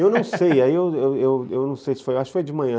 Eu não sei, ai eu eu eu acho que foi de manhã.